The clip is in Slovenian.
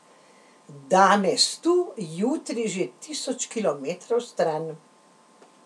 Danes tu, jutri že tisoč kilometrov stran.